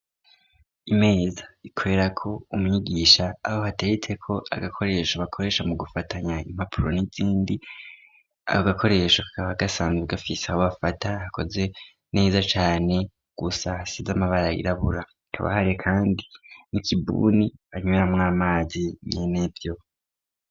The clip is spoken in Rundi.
Imeza ikorera ko umwigisha. Aho hateretse ko agakoresho bakoresha mu gufatanya impapuro n'izindi. Ako gakoresho kakaba gasanzwe gafise aho bafata hakoze neza cane gusa hasize amabara yirabura kabahariye kandi n'ikibuni anywera mwamazi nyenevyo.